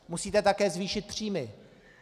Musíte také zvýšit příjmy.